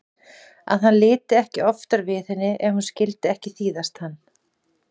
Að hann liti ekki oftar við henni ef hún vildi ekki þýðast hann.